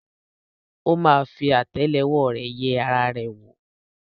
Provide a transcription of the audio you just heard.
ó ma fi àtẹ́lẹwọ́ rẹ̀ yẹ ara rẹ̀ wò.